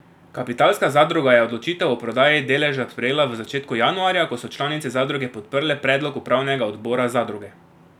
Kapitalska zadruga je odločitev o prodaji deleža sprejela v začetku januarja, ko so članice zadruge podprle predlog upravnega odbora zadruge.